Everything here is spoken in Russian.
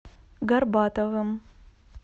горбатовым